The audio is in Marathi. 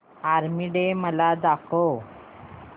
आर्मी डे मला दाखव